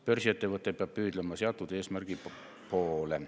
Börsiettevõte peab püüdlema seatud eesmärgi poole.